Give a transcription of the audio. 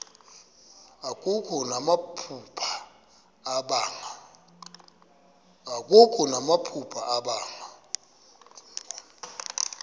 akho namaphupha abanga